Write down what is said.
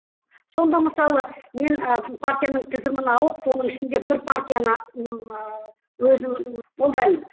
сонда мысалы мен ы партияның тізімін алып соның ішінде бір партияны ыыы өзім қолдаймын